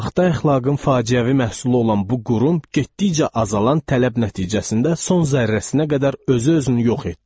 Saxta əxlaqın faciəvi məhsulu olan bu qurum getdikcə azalan tələb nəticəsində son zərrəsinə qədər özü-özünü yox etdi.